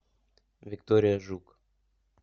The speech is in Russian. виктория жук